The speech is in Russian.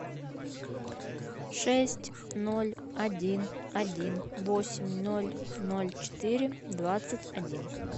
шесть ноль один один восемь ноль ноль четыре двадцать один